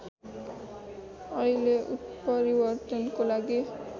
अहिले उत्परिवर्तनको लागि